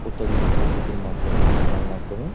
অত্যাধুনিক পদ্ধতির মাধ্যমে ঝর্নার মাধ্যমে --